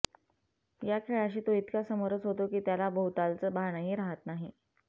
या खेळाशी तो इतका समरस होतो की त्याला भोवतालचं भानही राहत नाही